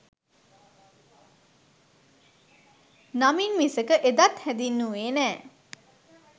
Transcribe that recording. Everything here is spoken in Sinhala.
නමින් මිසක එදත් හැඳින්නුවේ නෑ.